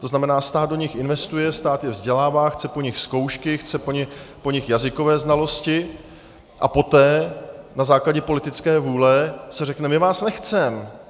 To znamená, stát do nich investuje, stát je vzdělává, chce po nich zkoušky, chce po nich jazykové znalosti a poté na základě politické vůle se řekne: My vás nechcem.